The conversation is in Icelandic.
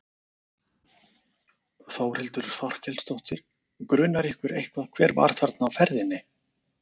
Þórhildur Þorkelsdóttir: Grunar ykkur eitthvað hver var þarna á ferðinni?